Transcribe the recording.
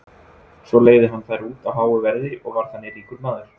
svo leigði hann þær út á háu verði og varð þannig ríkur maður